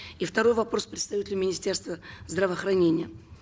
и второй вопрос представителю министерства здравоохранения